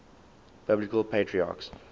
biblical patriarchs